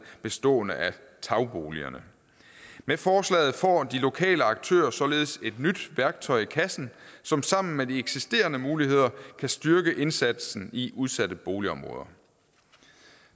bestående af tagboligerne med forslaget får de lokale aktører således et nyt værktøj i kassen som sammen med de eksisterende muligheder kan styrke indsatsen i udsatte boligområder